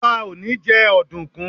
Ọba ò ní jẹ́ ọ̀dùkún.